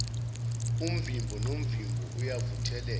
umvimbo nomvimbo ayewuvuthela